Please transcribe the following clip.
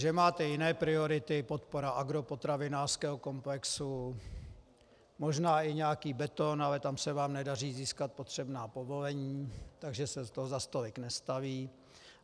Že máte jiné priority - podpora agropotravinářského komplexu, možná i nějaký beton, ale tam se vám nedaří získat potřebná povolení, takže se toho zase tolik nestaví.